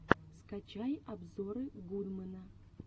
скачай обзоры гудмэна